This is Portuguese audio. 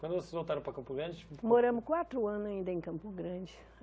Quando vocês voltaram para Campo Grande... Moramos quatro anos ainda em Campo Grande.